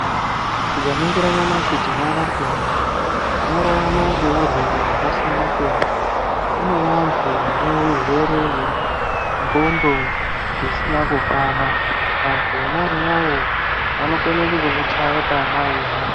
Tikaningira nyamashi tinoona kuti vantu vanorarama ngeurwere hwakasiyana-siyana. Kune vantu vane urwere hwendxondo dzisina kukwana. Vantu vona avavo vanokone kutokuchaye pama weihamba.